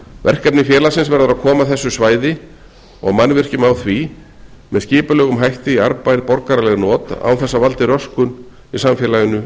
verkefni félagsins verður að koma þessu svæði og mannvirkjum á því með skipulegum hætti í arðbær borgaraleg not án þess að valdi röskun í samfélaginu